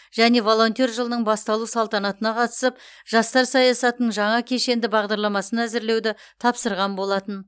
және волонтер жылының басталу салтанатына қатысып жастар саясатының жаңа кешенді бағдарламасын әзірлеуді тапсырған болатын